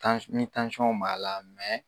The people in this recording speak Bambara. ni b'a la .